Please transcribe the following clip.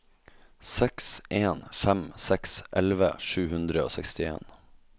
seks en fem seks elleve sju hundre og sekstien